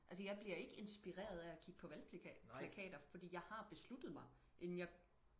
altså jeg bliver ikke inspireret af at kigge på valgplakater fordi jeg har besluttet mig inden jeg